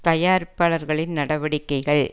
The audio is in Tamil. தயாரிப்பாளர்களின் நடவடிக்கைகள்